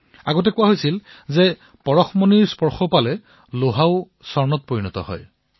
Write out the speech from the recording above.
প্ৰথমে ভবা হৈছিল যে পৰশমণিৰ দ্বাৰা লো সোণলৈ পৰিৱৰ্তিত হয়